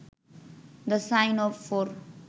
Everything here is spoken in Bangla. the sign of four